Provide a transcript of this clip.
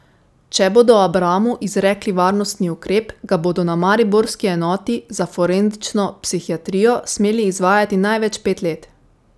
Če bodo Abramu izrekli varnostni ukrep, ga bodo na mariborski enoti za forenzično psihiatrijo smeli izvajati največ pet let.